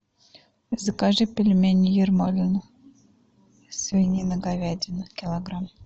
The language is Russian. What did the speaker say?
закажи пельмени ермолино свинина говядина килограмм